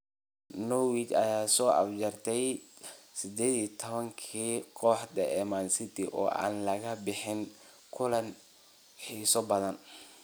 Norwich ayaa soo afjartay 18-ka kooxood ee Man City oo aan laga badinin kulan xiiso badan.